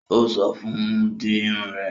Ó sọ fún un; di Irun rẹ